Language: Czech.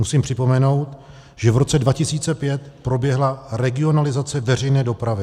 Musím připomenout, že v roce 2005 proběhla regionalizace veřejné dopravy.